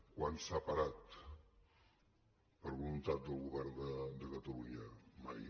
quan s’ha parat per voluntat del govern de catalunya mai